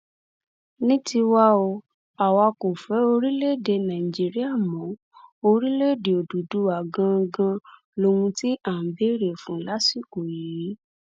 ní tiwa o àwa kò fẹ orílẹèdè nàìjíríà mọ orílẹèdè òdúdúwá ganan lóhun tí à ń béèrè fún lásìkò yìí